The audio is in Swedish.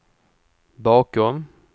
bakom